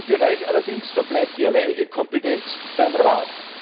In diesem Bereich allerdings verbleibt die alleinige Kompetenz beim Rat.